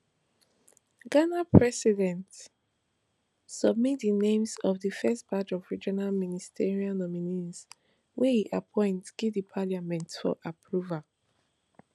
ghana president submit di names of di first batch of regional ministerial nominees wey e appoint give di parliament for approval